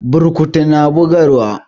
Burkutu na bugarwa.